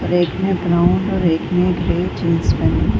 और एक ने ब्राउन और एक ने ग्रे जींस पहनी --